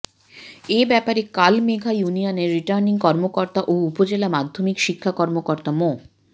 এ ব্যাপারে কালমেঘা ইউনিয়নের রিটার্নিং কর্মকর্তা ও উপজেলা মাধ্যমিক শিক্ষা কর্মকর্তা মো